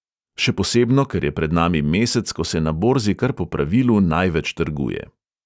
Še posebno, ker je pred nami mesec, ko se na borzi kar po pravilu največ trguje.